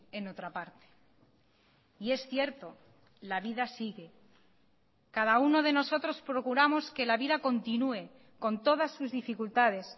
en otra parte y es cierto la vida sigue cada uno de nosotros procuramos que la vida continúe con todas sus dificultades